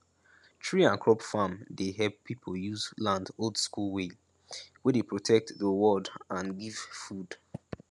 tree and crop farm dey help people use land oldschool way wey dey protect do world and give food